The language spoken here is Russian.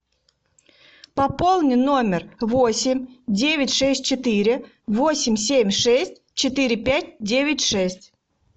пополни номер восемь девять шесть четыре восемь семь шесть четыре пять девять шесть